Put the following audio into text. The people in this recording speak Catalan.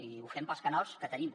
i ho fem pels canals que tenim